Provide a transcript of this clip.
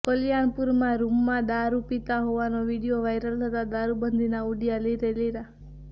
કલ્યાણપુરમાં રૂમમાં દારૂ પિતા હોવાનો વિડીયો વાઈરલ થતા દારૂબંધીનાં ઉડ્યા લીરેલીરા